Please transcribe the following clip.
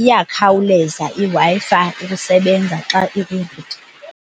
iyakhawuleza iWi-Fi ukusebenza xa ikwi-router.